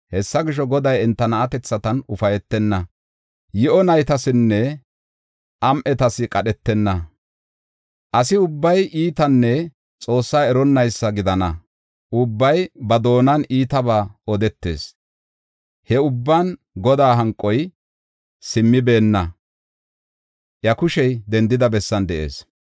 Hessa gisho, Goday enta na7atethatan ufaytenna; yi7o naytasinne am7etas qadhetenna. Asi ubbay iitanne Xoosse eronnaysa gidana; ubbay ba doonan iitabaa odetees. He ubban Godaa hanqoy simmibeenna; iya kushey dendida bessan de7ees.